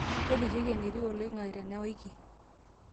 tolikioki enetiu oloing'ang'e tenawiki